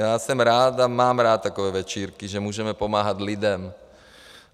Já jsem rád a mám rád takové večírky, že můžeme pomáhat lidem.